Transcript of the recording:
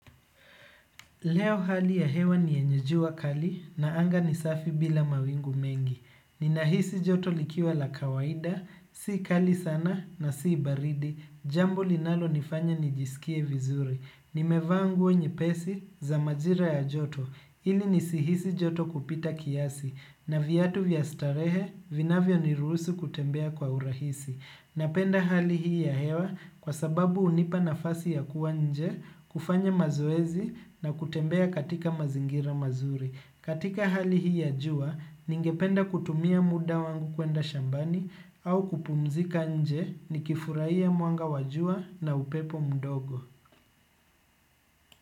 Leo hali ya hewa ni yenye jua kali na anga ni safi bila mawingu mengi. Ninahisi joto likiwa la kawaida, sii kali sana na sii baridi, jambo linalonifanya nijisikie vizuri. Nimevaa nguo nyepesi za majira ya joto, ili nisihisi joto kupita kiasi, na viatu vya starehe, vinavyoniruhusu kutembea kwa urahisi. Napenda hali hii ya hewa kwa sababu hunipa nafasi ya kuwa nje, kufanya mazoezi na kutembea katika mazingira mazuri. Katika hali hii ya jua, ningependa kutumia muda wangu kuenda shambani au kupumzika nje nikifurahia mwanga wa jua na upepo mdogo.